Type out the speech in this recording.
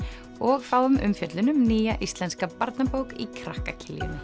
og fáum umfjöllun um nýja íslenska barnabók í krakka Kiljunni